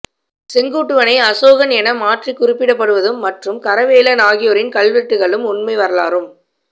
செங்குட்டுவனை அசோகன் என மாற்றிக் குறிப்பிடப்படுவதும் மற்றும் கரவேலன் ஆகியோரின் கல்வெட்டுக்களும் உண்மை வரலாறும்